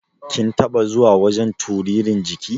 Kin taɓa zuwa wajan turirin jiki?